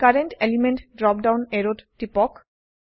current element drop down অ্যাৰোত টিপক